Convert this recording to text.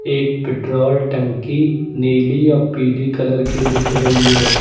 एक पेट्रोल टंकी नीली अ पीली कलर की दिख रही है।